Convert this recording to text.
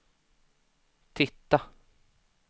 titta